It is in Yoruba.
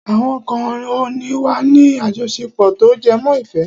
Àwọn kan ò ní wà ní àjọṣepọ̀ tó jẹmọ́ ìfẹ́.